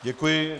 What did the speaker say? Děkuji.